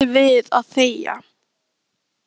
En hann sættir sig við að þegja.